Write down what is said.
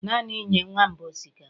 Naanị nye nwamba osikapa